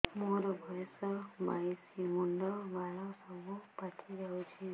ମୋର ବୟସ ବାଇଶି ମୁଣ୍ଡ ବାଳ ସବୁ ପାଛି ଯାଉଛି